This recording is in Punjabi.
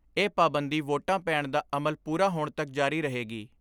ਇਹ ਪਾਬੰਦੀ ਵੋਟਾਂ ਪੈਣ ਦਾ ਅਮਲ ਪੂਰਾ ਹੋਣ ਤੱਕ ਜਾਰੀ ਰਹੇਗੀ।